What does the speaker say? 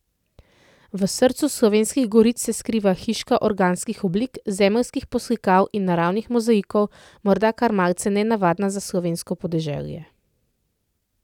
V srcu Slovenskih goric se skriva hiška organskih oblik, zemeljskih poslikav in naravnih mozaikov, morda kar malce nenavadna za slovensko podeželje.